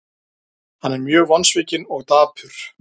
Hann er mjög vonsvikinn og dapur.